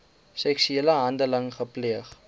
seksuele handeling gepleeg